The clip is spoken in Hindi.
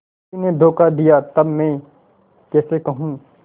उसी ने धोखा दिया तब मैं कैसे कहूँ